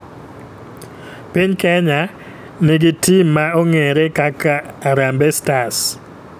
Piny kenya ni gi tim ma ong'ere kaka harambe stars.